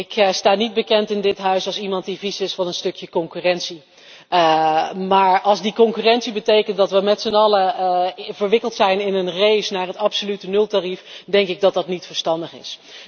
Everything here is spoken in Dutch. Ik sta in dit Parlement niet bekend als iemand die vies is van een stukje concurrentie, maar als die concurrentie betekent dat we met zijn allen verwikkeld zijn in een race naar het absolute nultarief, denk ik dat dat niet verstandig is.